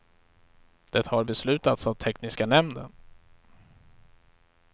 Det har beslutats av tekniska nämnden.